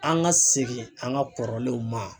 An ka segin an ka kɔrɔlenw ma.